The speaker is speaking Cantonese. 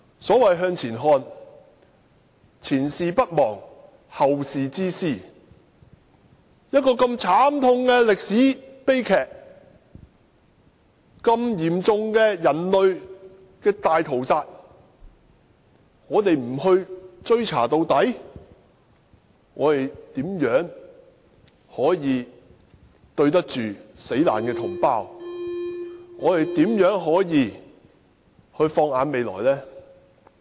所謂向前看，是前事不忘，後事之師，一個如此慘痛的歷史悲劇，如此嚴重的人類大屠殺，如果我們不追查到底，試問怎對得起死難的同胞；如何放眼未來呢？